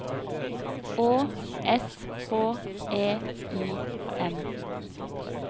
Å S H E I M